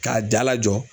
K'a dala jɔ